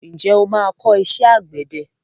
Ǹjẹ́ o máa kọ́ iṣẹ́ àgbẹ̀dẹ?